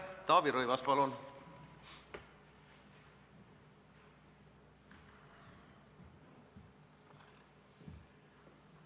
Taavi Rõivas, palun!